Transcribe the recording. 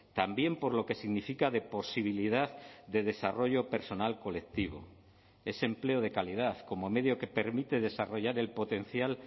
también por lo que significa de posibilidad de desarrollo personal colectivo ese empleo de calidad como medio que permite desarrollar el potencial